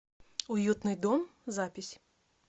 уютный дом запись